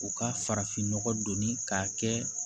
U ka farafinnɔgɔ donni k'a kɛ